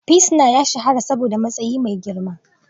Pilsnar ya shahara saboda matsayi mai girma